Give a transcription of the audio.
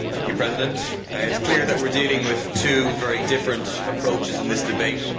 Mr President, it is clear that we are dealing with two very different approaches in this debate.